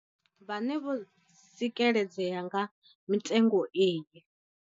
Vhane vho tsikeledzea nga mitengo iyi.